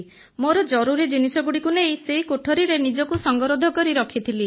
ମୋର ଜରୁରୀ ଜିନିଷଗୁଡ଼ିକୁ ନେଇ ସେଇ କୋଠରିରେ ନିଜକୁ ସଂଗରୋଧ କରି ରଖିଥିଲି